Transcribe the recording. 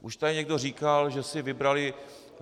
Už tady někdo říkal, že si vybrali...